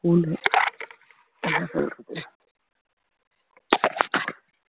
school உ என்ன சொல்லறது